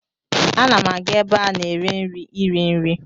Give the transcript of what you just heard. Ana m aga ebe a na-ere nri iri nri.